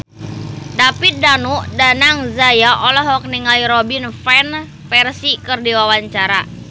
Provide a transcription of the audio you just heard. David Danu Danangjaya olohok ningali Robin Van Persie keur diwawancara